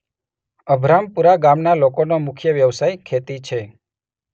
અભરામપુરા ગામના લોકોનો મુખ્ય વ્યવસાય ખેતી છે.